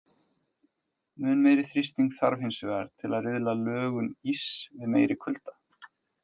Mun meiri þrýsting þarf hins vegar til að riðla lögun íss við meiri kulda.